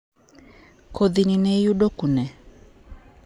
kodhi ni ne iyudo kune?